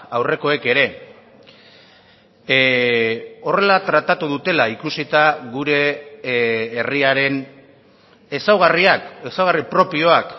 aurrekoek ere horrela tratatu dutela ikusita gure herriaren ezaugarriak ezaugarri propioak